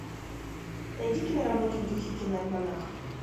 найди киноработу в духе киноальманаха